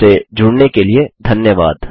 हमसे जुड़ने के लिए धन्यवाद